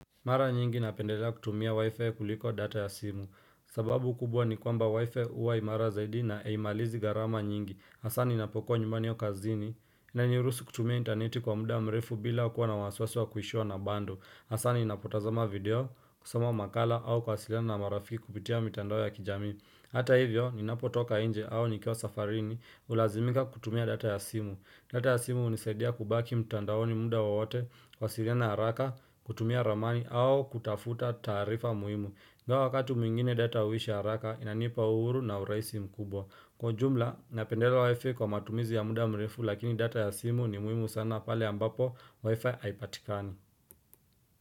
Mara nyingi napendelea kutumia wifi kuliko data ya simu. Sababu kubwa ni kwamba wifi uwa imara zaidi na aimalizi garama nyingi. Hasa ninapokua nyumbani au kazini, Nanyurusu kutumia interneti kwa muda mrefu bila kuwa na waswaswa kuhishua na bandu. Hasa ninapotazama video, kusoma makala au kuwasiliana na marafiki kupitia mitandao ya kijami. Hata hivyo, ninapotoka nje au nikiwa safarini, Ulazimika kutumia data ya simu. Data ya simu hunisaidia kubaki mtandaoni muda wowote, kuwasiliana haraka, kutumia ramani au kutafuta taarifa muhimu ingawa wakati mwingine data huisha haraka inanipa uhuru na uraisi mkubwa kwa jumla napendelea wifi kwa matumizi ya muda mrefu lakini data ya simu ni muhimu sana pale ambapo wifi haipatikani.